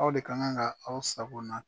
Aw de ka kan ka aw sago na